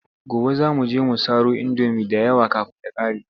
Gobe za mu je mu saro indomi da yawa kafin ta ƙare.